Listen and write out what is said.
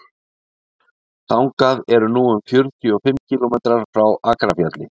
þangað eru nú um fjörutíu og fimm kílómetrar frá akrafjalli